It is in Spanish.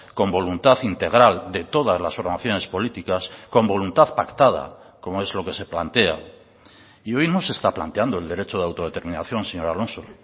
con voluntad integral de todas las formaciones políticas con voluntad pactada como es lo que se plantea y hoy no se está planteando el derecho de autodeterminación señor alonso